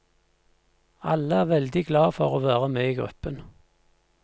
Alle er veldig glad for å være med i gruppen.